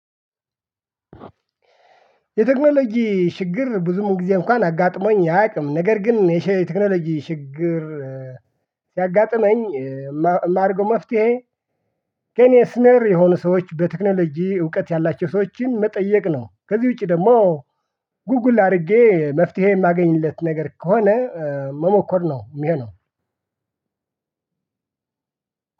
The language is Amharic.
የቴክኖሎጂ ችግር ብዙ ጊዜ እንኳን አጋጥሞኝ አያውቅም ነገር ግን የቴክኖሎጂ ችግር ቢያጋጠመኝ የማድርገው መፍትሄ ከኔ ሲኒየር የሆኑ ሰዎች በቴክኖሎጂ እውቀት ያላቸው ሰወችን መጠየቅ ነው። ከዚህ ውጪ ደግሞ ጉጉል አድርጌ መፍትሄ የማገኝለት ነገር ከሆነ መሞከር ነው የሚሆነው።